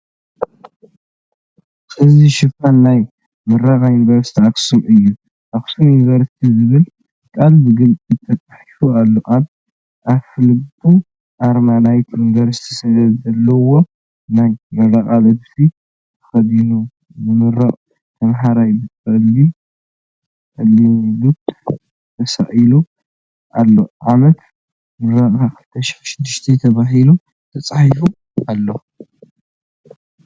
እዚ ሽፋን ናይ ምረቓ ዩኒቨርሲቲ ኣኽሱም እዩ። "ኣክሱም ዩኒቨርሲቲ" ዝብል ቃል ብግልፂ ተፃሒፉ ኣሎ። ኣብ ኣፍልቡ ኣርማ ናይቲ ዩኒቨርሲቲ ዘለዎ ናይ ምረቓ ልብሲ ተኸዲኑ ዝምረቕ ተማሃራይ ብጸሊም ጽላሎት ተሳኢሉ ኣሎ። ዓመት ምረቓ "2006" ተባሂሉ ተፃሒፉ ኣሎ።